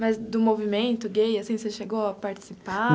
Mas do movimento gay, assim, você chegou a participar?